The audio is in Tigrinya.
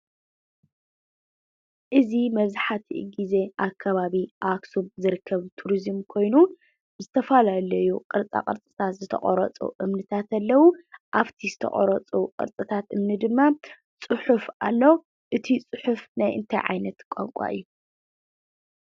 እዚ መብዛሕትኡ ግዜ ኣብ ከባቢ ከተማ ኣኽሱም ዝርከብ ቱሪዝም ኮይኑ ብዝተፈላለዩ ቅርፃ ቅርፅታት ዝተቐረፁ እምንታት ኣለዉ፡፡ ኣብቲ ዝተቐረፁ ቅርፅታት እምኒ ድማ ፅሑፍ ኣሎ፡፡ እቲ ፅሑፍ ናይ እንታይ ዓይነት ቋንቋ እዩ?